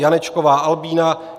Janečková Albína